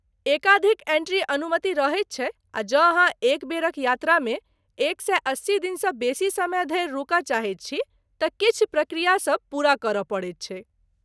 एकाधिक एंट्रीक अनुमति रहैत छै आ जँ अहाँ एक बेरक यात्रामे एक सए अस्सी दिनसँ बेसी समय धरि रुकय चाहैत छी तँ किछु प्रक्रियासब पूरा करय पड़ैत छैक।